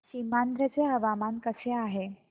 सीमांध्र चे हवामान कसे आहे